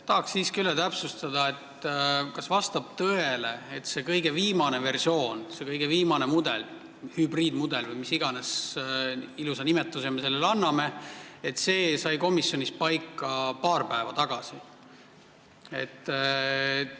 Tahan siiski üle täpsustada, kas vastab tõele, et see kõige viimane versioon, see kõige viimane hübriidmudel või mis iganes ilusa nimetuse me sellele anname, sai komisjonis paika paar päeva tagasi?